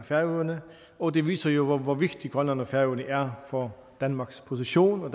færøerne og det viser jo hvor vigtig i grønland og færøerne er for danmarks position og